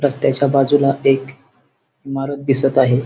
रस्त्याच्या बाजूला एक इमारत दिसत आहे.